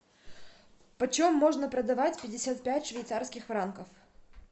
почем можно продавать пятьдесят пять швейцарских франков